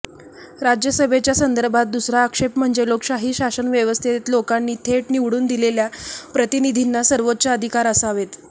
राज्यसभेच्या संदर्भात दुसरा आक्षेप म्हणजे लोकशाही शासनव्यवस्थेत लोकांनी थेट निवडून दिलेल्या प्रतिनिधींना सर्वोच्च अधिकार असावेत